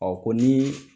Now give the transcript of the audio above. Ɔ ko ni